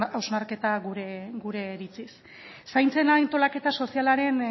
hausnarketa gure iritziz zaintzen antolaketa sozialaren